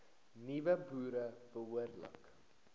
nuwe boere behoorlik